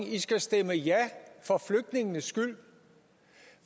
at de skal stemme ja for flygtningenes skyld